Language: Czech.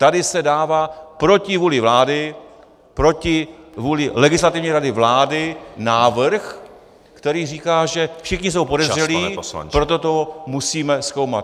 Tady se dává proti vůli vlády, proti vůli Legislativní rady vlády návrh, který říká, že všichni jsou podezřelí , proto to musíme zkoumat.